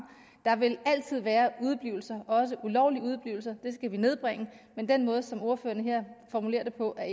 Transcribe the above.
der vil altid være udeblivelser også ulovlige udeblivelser det skal vi nedbringe men den måde som ordføreren her formulerer det på er